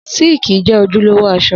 Síìkì jẹ́ ojúlówó aṣọ